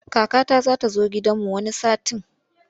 Kakata za ta zo gidanmu wani satin.